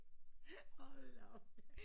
Hold da op